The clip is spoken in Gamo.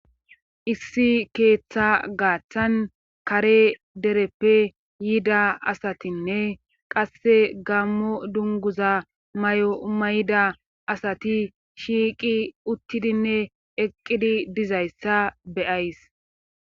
issi keeththa gaaththan kare dereppe yiida asatinne qasse gammo dunguza may7o umayida asati shiiqi uttidinne eqqidi dizayssa beyays